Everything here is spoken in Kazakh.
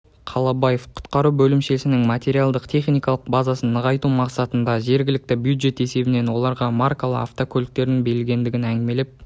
қалабаев құтқару бөлімшесінің материалдық техникалық базасын нығайту мақсатында жергілікті бюджет есебінен оларға маркалы автокөліктің бөлінгендігін әңгімелеп